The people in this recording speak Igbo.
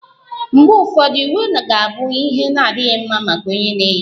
Mgbe ụfọdụ, uwe ga-abụ ihe na-adịghị mma maka onye na-eyi ya